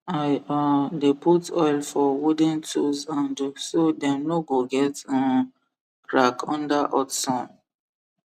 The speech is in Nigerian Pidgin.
i um dey put oil foor wooden tools handle so dem no go get um crack under hot sum